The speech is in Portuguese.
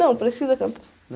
Não, precisa cantar?